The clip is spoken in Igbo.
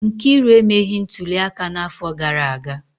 Nkiru emeghị ntuli aka n'afọ gara aga